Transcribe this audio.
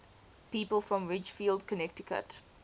people from ridgefield connecticut